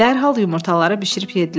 Dərhal yumurtaları bişirib yeddilər.